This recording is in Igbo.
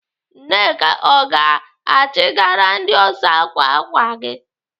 Nneka ọ ga-achịgara ndị ọsa ákwà ákwà gị?